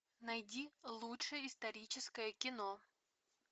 найди лучшее историческое кино